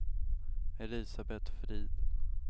Elisabet Frid